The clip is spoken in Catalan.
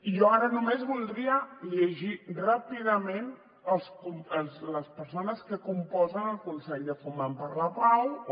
jo ara només voldria llegir ràpidament les persones que composen el consell de foment per la pau o